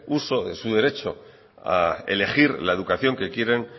uso de su derecho a elegir la educación que quieren